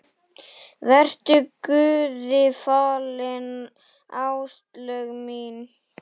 Vertu Guði falin, Áslaug mín.